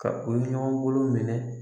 Ka u ye ɲɔgɔn bolo minɛ.